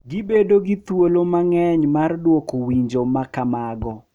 Gibedo gi thuolo mang’eny mar dwoko winjo ma kamago,